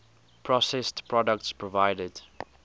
processed products provided